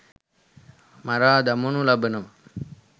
මරා දමනු ලබනවා.